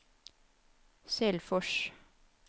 Selfors